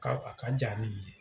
' ka a kan diya ni nin ye.